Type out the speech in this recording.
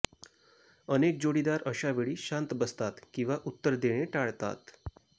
अनेक जोडीदार अशावेळी शांत बसतात किंवा उत्तर देणे टाळतात